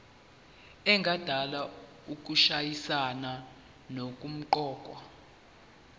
engadala ukushayisana nokuqokwa